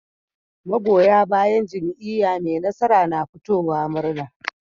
Magoya bayan jam'iya me nasara na fitowa murna